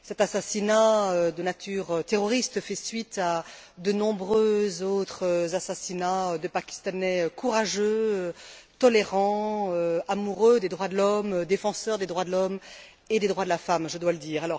Cet assassinat de nature terroriste fait suite à de nombreux autres assassinats de Pakistanais courageux, tolérants, amoureux des droits de l'homme, défenseurs des droits de l'homme et des droits de la femme, je dois le dire.